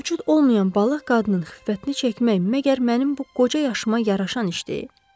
Mövcud olmayan balıq qadının xiffətini çəkmək məgər mənim bu qoca yaşıma yaraşan iş deyil?